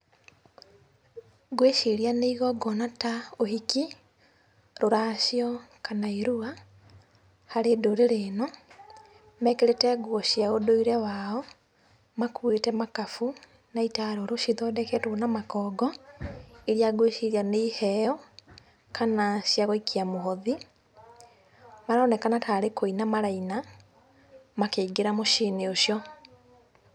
Ngwĩciria nĩ ĩgong'ona ta ũhiki, rũracio kana irua harĩ ndũrĩrĩ ĩno. Mekĩrĩte nguo cia ũndũire wao, makuĩte makabu na itarũrũ cithondeketwo na makongo ĩria ngĩciria nĩ ĩheo kana ciagũikia mũhothi. Maronekana tarĩ kũina maraina makĩingĩra mũciĩinĩ ucio.